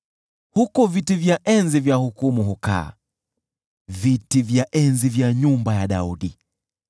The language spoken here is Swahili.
Huko viti vya enzi vya hukumu hukaa, viti vya enzi vya nyumba ya Daudi.